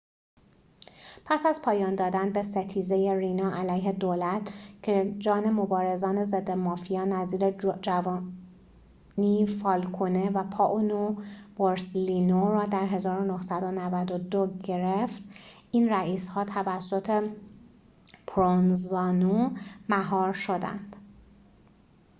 پس از پایان دادن به ستیزه رینا علیه دولت که جان مبارزان ضد مافیا نظیر جووانی فالکونه و پائولو بورسلینو را در ۱۹۹۲ گرفت این رئیس‌ها توسط پروونزانو مهار شدند